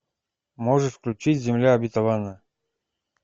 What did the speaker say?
можешь включить земля обетованная